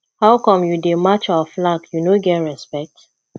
how come you dey match our flag you no get respect